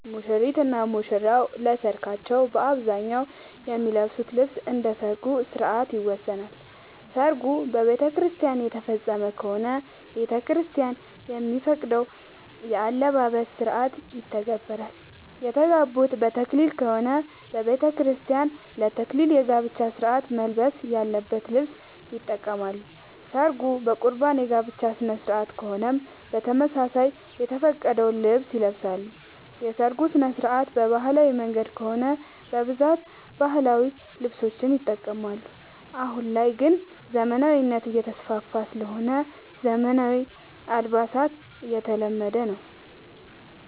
ሙሽሪት እና ሙሽራ ለሰርካቸው በአብዛኛው የሚለብሱት ልብስ እንደ ሠርጉ ስነስርዓት ይወሰናል። ሰርጉ በቤተክርስቲያን የተፈፀመ ከሆነ ቤተክርስቲያን የሚፈቅደውን የአለባበስ ስነስርዓት ይተገብራሉ። የተጋቡት በተክሊል ከሆነ በቤተክርስቲያን ለ ተክሊል የጋብቻ ስነስርዓት መልበስ ያለበትን ልብስ ይጠቀማሉ። ሰርጉ በቁርባን የጋብቻ ስነስርዓት ከሆነም በተመሳሳይ የተፈቀደውን ልብስ ይለብሳሉ። የሰርጉ ስነስርዓት በባህላዊ መንገድ ከሆነ በብዛት ባህላዊ ልብሶችን ይጠቀማሉ። አሁን ላይ ግን ዘመናዊነት እየተስፋፋ ስለሆነ ዘመናዊ አልባሳት እየተለመደ ነው።